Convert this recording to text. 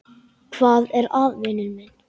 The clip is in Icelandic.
Hvað er að, vinur minn?